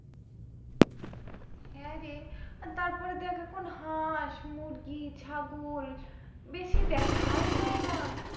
হ্যাঁ রে আর তারপর দেখ এখন হাঁস, মুরগি, ছাগল বেশি দেখাই যায় না।